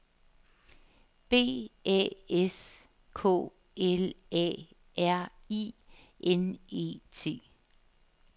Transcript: B A S K L A R I N E T